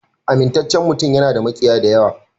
Amintaccen mutum yana da makiya da yawa.